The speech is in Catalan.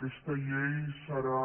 aquesta llei serà